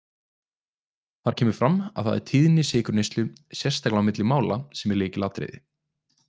Þar kemur fram að það er tíðni sykurneyslu, sérstaklega milli mála, sem er lykilatriði.